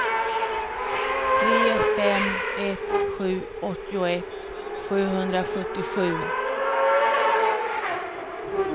tre fem ett sju åttioett sjuhundrasjuttiosju